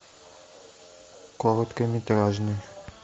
короткометражный